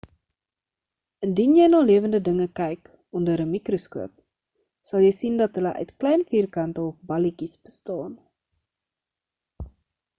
indien jy na lewende dinge kyk onder 'n mikroskoop sal jy sien dat hulle uit klein vierkante of balletjies bestaan